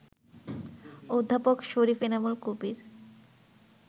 অধ্যাপক শরীফ এনামুল কবির